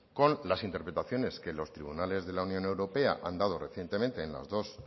con las interpretaciones que los tribunales de la unión europea han dado recientemente en las dos